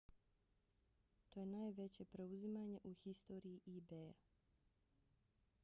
to je najveće preuzimanje u historiji ebaya